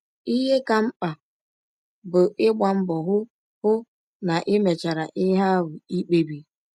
Ihe ka mkpa bụ ịgba mbọ hụ hụ na i mechara ihe ahụ i kpebiri.